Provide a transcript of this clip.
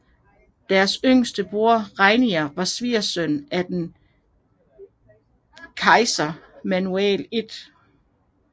Deres yngste bror Ranier var svigersøn til den byzantinske kejser Manuel 1